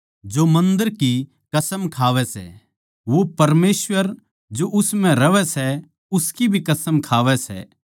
जो मन्दर की कसम खावै सै वो परमेसवर जो उस म्ह रहवै सै उसकी भी कसम खावै सै